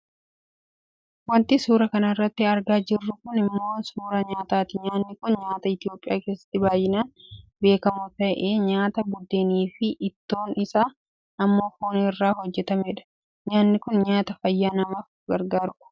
Wanti suuraa kanarratti argaa jirru kun ammoo suuraa nyaataati. Nyaanni kun nyaata Itoopiyaa keessatti baayyinaan beekkamu ta'ee nyaata budeeniifi ittoon isaa ammoo foon irraa hojjatamedha. Nyaanni kun nyaata fayyaa namaaf gargaarudha.